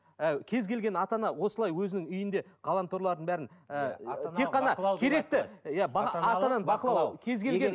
ііі кез келген ата ана осылай өзінің үйінде ғаламторлардың бәрін ііі